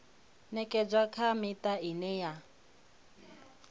ṅekedzwa kha miṱa ine ya